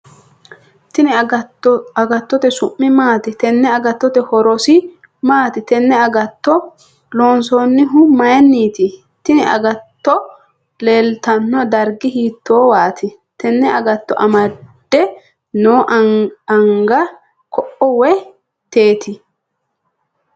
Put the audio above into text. Tenne agatto su'mi maati.? Tenne agatto horrose maati.? Tenne agatto loonsanihu mayiiniti.? Tinni agatto leelitano darigi hiitowati.? Tenne agatto amade noo anga koo woyi teeti.?